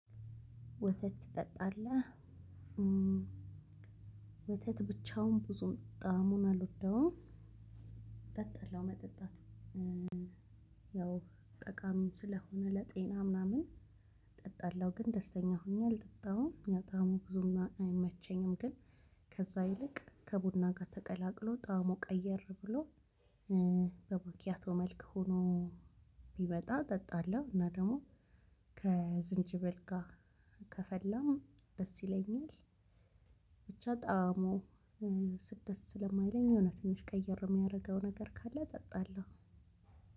ወተት ትጠጣለህ? ወተት ብቻውን ብዙም ጣዕሙን አልወዳሁም እጠጣለው መጠጣቱን ያው ጠቃሚ ስለሆነ ለጤና ምናምን እጠጣለሁ ግን ደስተኛ ሆኜ አልጠጣሁም የጣዕሙ ብዙም አይመቸኝም። ግን ከዛ ይልቅ ከቡና ጋር ተቀላቅሎ ጣዕሙ ቀየር ብሎ በመኪያቶ መልክ ሆኖ ቢመጣ እጠጣለሁ። እና ደግሞ ከዝንጅብል ጋር ከፈላ ደስ ይለኛል። ብቻ ጣዕሙ ስትደርስ ስለማይለኝ እውነት ትንሽ ቀይር የሚያደርገው ነገር ካለ እጠጣለሁ።